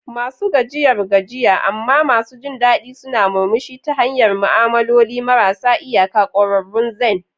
Masu gajiyar gajiya amma masu jin daɗi suna murmushi ta hanyar ma'amaloli marasa iyaka, ƙwararrun zen.